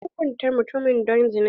An hukunta mutumin don zina.